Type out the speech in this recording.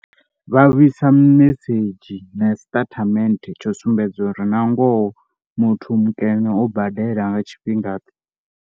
Vha vhu isa mimesedzhi na siṱatamende tsha u sumbedza uri na ngoho muthu mukene o badela nga tshifhingaḓe.